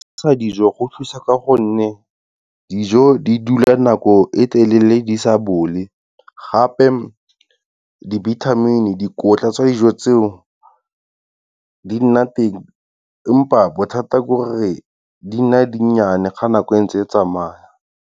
Se sa dijo go thusa ka gonne dijo di dula nako e telele di sa bole, gape dibithamini, dikotla tsa dijo tseo, di nna teng empa bothata ke gore di nna dinnyane ga nako entse e tsamaya.